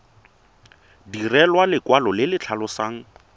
direlwa lekwalo le le tlhalosang